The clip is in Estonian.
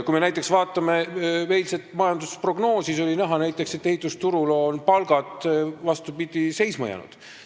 Kui me näiteks vaatame eilset majandusprognoosi, siis on näha, et ehitusturul on palgad, vastupidi, seisma jäänud.